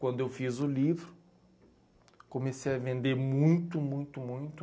Quando eu fiz o livro, comecei a vender muito, muito, muito.